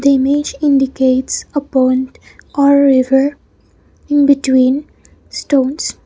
the image indicates a pond or river in between stones.